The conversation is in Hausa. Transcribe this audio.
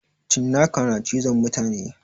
Cinaka na cizon mutane